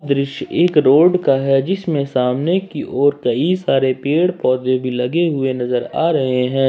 दृश्य एक रोड का है जिसमें सामने की ओर कई सारे पेड़ पौधे भी लगे हुए नजर आ रहे हैं।